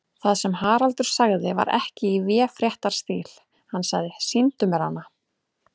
Það sem Haraldur sagði var ekki í véfréttarstíl, hann sagði: Sýndu mér hana.